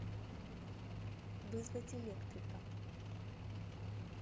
вызвать электрика